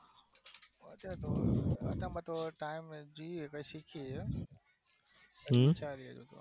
અત્યારે તો અત્યારમાં તો કઈ નહિ જોયીયે એટલે સીખીયે હિયે